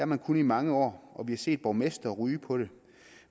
man kunnet i mange år og vi har set borgmestre ryge på det